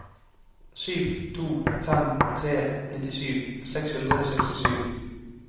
sju to fem tre nittisju seks hundre og sekstisju